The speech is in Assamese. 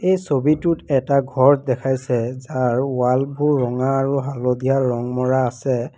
এই ছবিটোত এটা ঘৰ দেখাইছে যাৰ ৱালবোৰ ৰঙা আৰু হালধীয়া ৰং মৰা আছে।